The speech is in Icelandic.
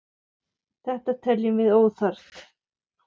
Þetta teljum við óþarft.